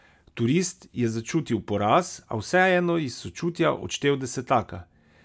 Turist je začutil poraz, a vseeno iz sočutja odštel desetaka.